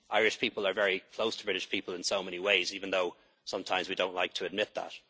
a lot about. Irish people are very close to British people in so many ways, even though sometimes we don't like to